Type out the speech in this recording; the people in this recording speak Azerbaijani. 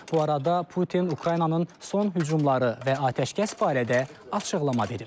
Bu arada Putin Ukraynanın son hücumları və atəşkəs barədə açıqlama verib.